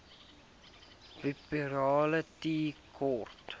wupperthal tea court